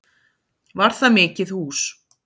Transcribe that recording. Var það mikið hús.